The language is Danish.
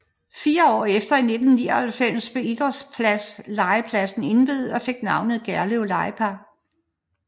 Fire år efter i 1999 blev idrætslegepladsen indviet og fik navnet Gerlev Legepark